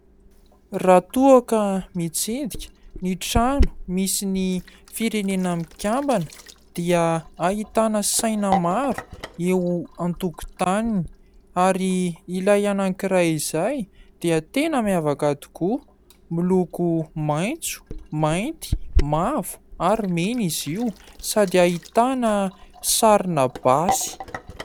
Raha toa ka mitsidika ny trano misy ny firenena mikambana dia ahitana saina maro eo antokotaniny ary ilay anankiray izay dia tena miavaka tokoa miloko maitso, mainty, mavo ary mena izy io sady ahitana sarina basy.